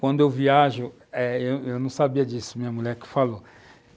Quando eu viajo, eh... eu não sabia disso, minha mulher que falou.